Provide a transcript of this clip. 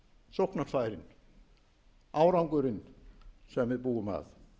sóknarfærin árangurinn sem við búum að